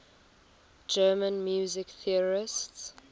german music theorists